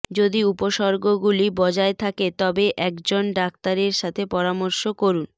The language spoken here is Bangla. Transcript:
যদি উপসর্গগুলি বজায় থাকে তবে একজন ডাক্তারের সাথে পরামর্শ করুন